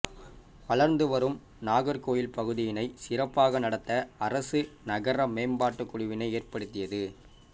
வளர்ந்து வரும் நாகர்கோவில் பகுதியினை சிறப்பாக நடத்த அரசு நகர மேம்ம்பாட்டுக் குழுவினை ஏற்படுத்தியது